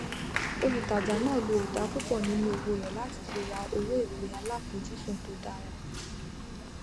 olùtajà náà lo ìdá púpọ nínú owó rẹ láti fi ra owó ìpè aláfojúsùn tó dára